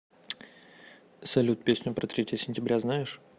салют песню про третье сентября знаешь